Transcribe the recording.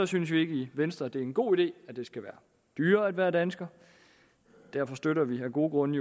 synes vi ikke i venstre det er en god idé at det skal være dyrere at være dansker derfor støtter vi jo af gode grunde